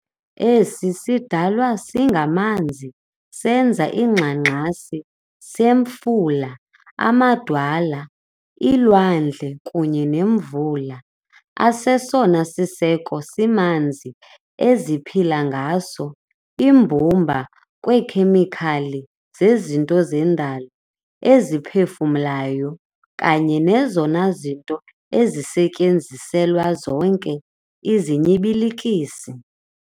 Esi sidalwa singamanzi senza iingxangxasi zemifula, amadwala, iilwandle kunye nemvula, asesona siseko simanzi eziphila ngaso imbumba yeekhemikhali zezinto zendalo eziphefumlayo, kanye nezona zinto ezisetyenziselwa zonke izinyibilikisi.